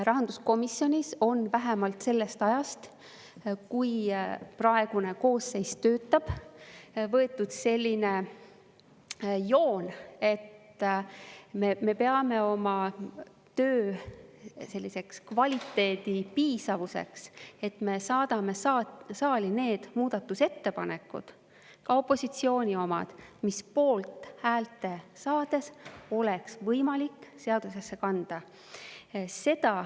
Rahanduskomisjonis on vähemalt sellest ajast, kui praegune koosseis töötab, võetud selline joon, et me peame oma töö kvaliteedi saatma saali need muudatusettepanekud, ka opositsiooni omad, mis poolthääli saades oleks võimalik seadusesse kanda.